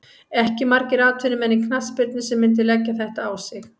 Ekki margir atvinnumenn í knattspyrnu sem myndu leggja þetta á sig.